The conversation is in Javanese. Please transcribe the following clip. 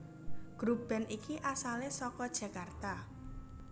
Grup band iki asale saka Jakarta